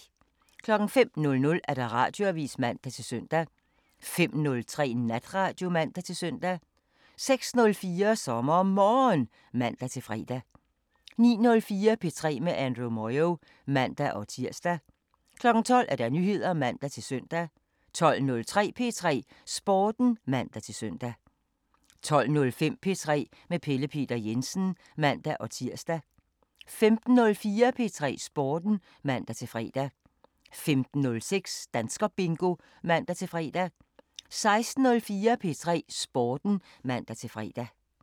05:00: Radioavisen (man-søn) 05:03: Natradio (man-søn) 06:04: SommerMorgen (man-fre) 09:04: P3 med Andrew Moyo (man-tir) 12:00: Nyheder (man-søn) 12:03: P3 Sporten (man-søn) 12:05: P3 med Pelle Peter Jensen (man-tir) 15:04: P3 Sporten (man-fre) 15:06: Danskerbingo (man-fre) 16:04: P3 Sporten (man-fre)